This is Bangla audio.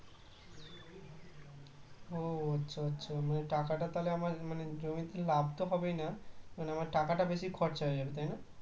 ও আচ্ছা আচ্ছা মানে টাকাটা তাহলে আমার মানে জমিতে লাভ তো হবেই না। মানে আমার টাকাটা বেশি খরচা হয়ে যাবে তাই না